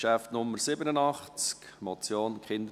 Geschäft Nummer 87, Motion «